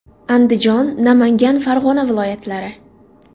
Andijon, Namangan, Farg‘ona viloyatlari.